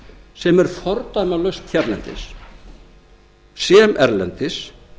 sem er fordæmalaust hérlendis sem erlendis